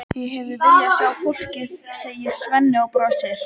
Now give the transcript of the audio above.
Ég hefði viljað sjá fólkið, segir Svenni og brosir.